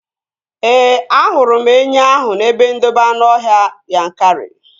Ee, ahụrụ m enwe ahụ n'ebe ndobe anụọhịa Yankari